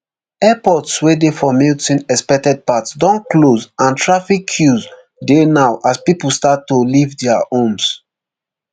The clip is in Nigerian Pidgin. airports wey dey for milton expected path don close and traffic queues dey now as pipo start to leave dia homes